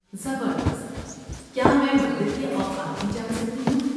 زبردست! کیا میں مندر کے اوقات بھی جان سکتی ہوں؟